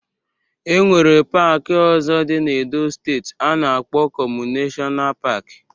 E nwere paaki ọzọ dị na Edo steeti a na-akpọ Okomu Neshọna Paaki